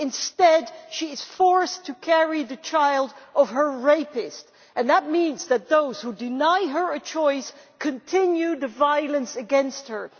Instead she is forced to carry the child of her rapist, and that means that those who deny her a choice continue the violence against her.